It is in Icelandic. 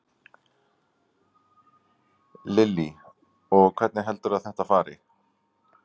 Lillý: Og hvernig heldurðu að þetta fari?